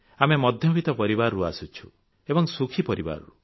ଆମେ ମଧ୍ୟବିତ ପରିବାରରୁ ଆସିଛୁ ଏବଂ ସୁଖୀ ପରିବାରରୁ